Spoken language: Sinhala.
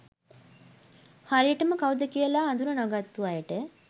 හරියටම කවුද කියලා අඳුන නොගත්තු අයට